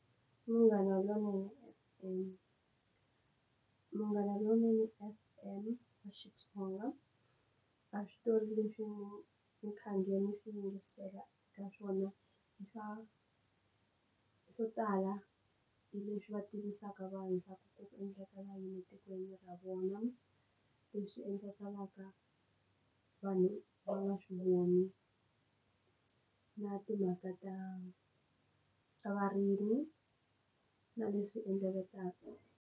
I Munghana Lonene FM, munghana lonene fm xitsonga a switori leswi mi swi yingisela ka swona swo tala leswi va tivisaka vanhu va ku ku endleka lama etikweni ra vona leswi endlekaka vanhu va nga swi voni na timhaka ta ta varimi na leswi endlakaka.